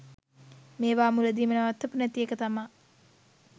මේවා මුලදීම නවත්තපු නැති එක තමා